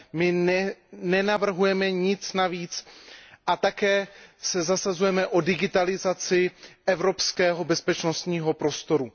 My nenavrhujeme nic navíc a také se zasazujeme o digitalizaci evropského bezpečnostního prostoru.